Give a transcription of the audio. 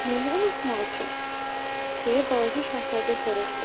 Nəyi unutmaq üçün, deyə balaca Şahzadə soruşdu.